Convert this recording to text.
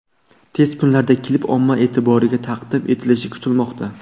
Tez kunlarda klip omma e’tiboriga taqdim etilishi kutilmoqda.